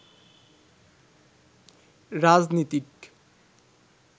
রাজনীতিক